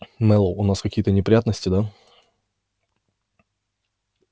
мэллоу у нас какие-то неприятности да